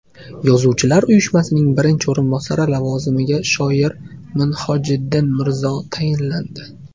Yozuvchilar uyushmasining birinchi o‘rinbosari lavozimiga shoir Minhojiddin Mirzo tayinlandi.